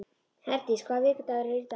Herdís, hvaða vikudagur er í dag?